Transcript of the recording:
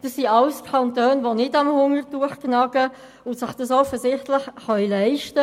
Das sind alles Kantone, die nicht am Hungertuch nagen und sich das offensichtlich leisten können.